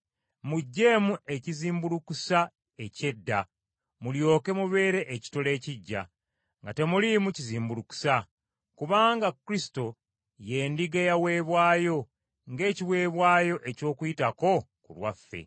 Muggyeemu ekizimbulukusa eky’edda, mulyoke mubeere ekitole ekiggya, nga temuliimu kizimbulukusa; kubanga Kristo ye ndiga eyaweebwayo ng’ekiweebwayo eky’Okuyitako ku lwaffe.